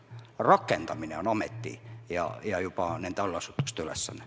Rakendamine on juba ametite ja nende allasutuste ülesanne.